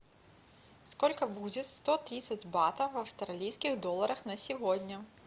сколько будет сто тридцать батов в австралийских долларах на сегодня